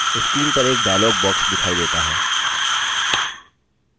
screen पर एक dialog box दिखाई देता है